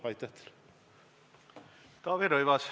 Taavi Rõivas, palun!